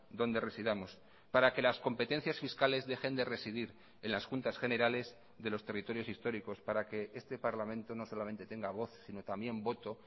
donde residamos para que las competencias fiscales dejen de residir en las juntas generales de los territorios históricos para que este parlamento no solamente tenga voz si no también voto